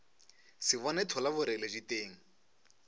se bone thola boreledi teng